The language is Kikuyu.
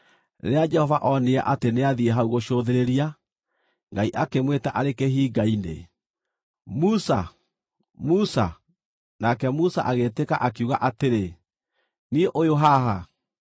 Rĩrĩa Jehova onire atĩ nĩathiĩ hau gũcũthĩrĩria, Ngai akĩmwĩta arĩ kĩhinga-inĩ, “Musa! Musa!” Nake Musa agĩĩtĩka, akiuga atĩrĩ, “Niĩ ũyũ haha.”